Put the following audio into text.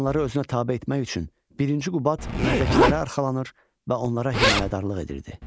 Əyanları özünə tabe etmək üçün Birinci Qubad məzdəkilərə arxalanır və onlara himayədarlıq edirdi.